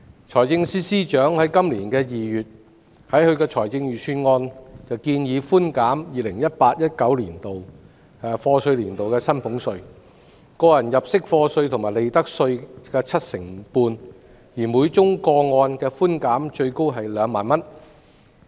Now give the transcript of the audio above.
財政司司長在今年2月的財政預算案建議寬減 2018-2019 課稅年度的薪俸稅、個人入息課稅及利得稅 75%， 每宗個案的寬減額最高為2萬元。